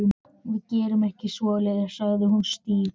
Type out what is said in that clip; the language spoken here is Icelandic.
Við gerum ekki svoleiðis sagði hann stífur.